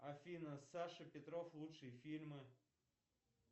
афина саша петров лучшие фильмы